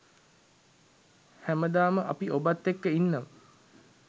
හැමදාම අපි ඔබත් එක්ක ඉන්නවා.